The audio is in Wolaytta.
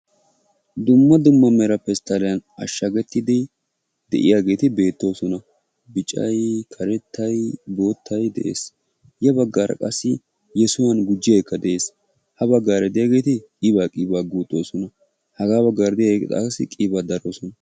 Dumma dumma mera pesttaliyaan ashshagetiidi de'iyaageeti beettoosona. Biccay, karettay, boottay de'ees. Ya baggaara qassi yessuwan gujiyaagekka de'ees. Ha baggaara de'iyaageti qiiba qiiba guuxxosona. Haga baggaara de'iyaageeri qassi qiiba daroosona.